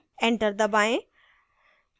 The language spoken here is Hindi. enter दबाएँ